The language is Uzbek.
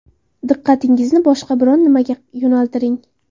Diqqatingizni boshqa biron nimaga yo‘naltiring.